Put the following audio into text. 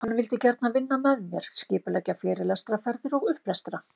Hann vildi gjarnan vinna með mér, skipuleggja fyrirlestraferðir og upplestra.